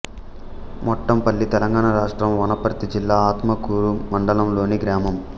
మొట్లంపల్లి తెలంగాణ రాష్ట్రం వనపర్తి జిల్లా ఆత్మకూరు మండలంలోని గ్రామం